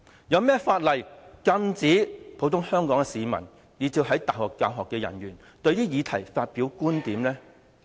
有何法例禁止香港普通市民以至是大學教學人員就這些議題發表觀點呢？